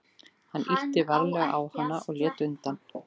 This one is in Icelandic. Hann ýtti varlega á hana og hún lét undan.